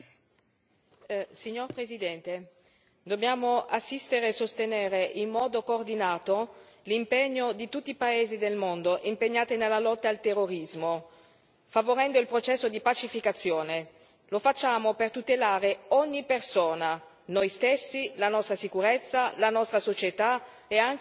Signor Presidente, onorevoli colleghi, dobbiamo assistere e sostenere in modo coordinato l'impegno di tutti i paesi del mondo impegnati nella lotta al terrorismo, favorendo il processo di pacificazione. Lo facciamo per tutelare ogni persona noi stessi, la nostra sicurezza, la nostra società e i suoi principi.